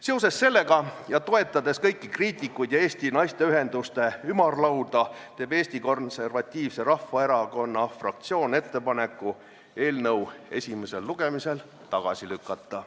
Seoses sellega ja toetades kõiki kriitikuid, sh Eesti Naisteühenduste Ümarlauda, teeb Eesti Konservatiivse Rahvaerakonna fraktsioon ettepaneku eelnõu esimesel lugemisel tagasi lükata.